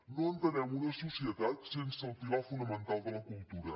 no entenem una societat sense el pilar fonamental de la cultura